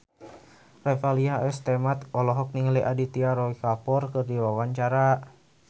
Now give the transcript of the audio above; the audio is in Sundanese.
Revalina S. Temat olohok ningali Aditya Roy Kapoor keur diwawancara